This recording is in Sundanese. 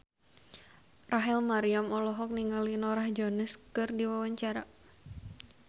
Rachel Maryam olohok ningali Norah Jones keur diwawancara